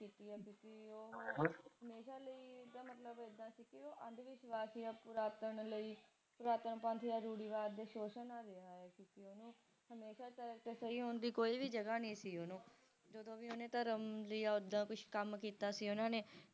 ਪੁਰਾਤਨ ਲਈ ਪੁਰਾਤਨ ਪੰਥ ਆ ਰੂੜੀਵਾਦ ਦਾ ਸ਼ੋਸ਼ਣ ਹੀ ਰਿਹਾ ਹੈ ਕਿਉਕਿ ਹਮੇਸ਼ਾ ਓਹਨੂੰ ਸਹੀ ਹੋਣ ਦੀ ਕੋਈ ਵੀ ਜਗ੍ਹਾ ਨਹੀਂ ਸੀ ਓਹਨੂੰ ਜਦੋ ਵੀ ਓਹਨਾ ਧਰਮ ਦੀ ਆਗਿਆ ਵਿਚ ਕੱਮ ਕੀਤਾ ਸੀ ਓਹਨਾ ਨੇ